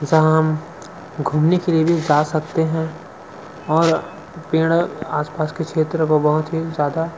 जहा हम घूमने के लिए भी जा सकते हैं और पेड़ आसपास के क्षेत्र को बहुत ही ज्यादा--